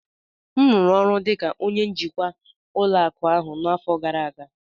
m rụrụ ọrụ dị ka onye njikwa ụlọ akụ ahụ n'afọ gara aga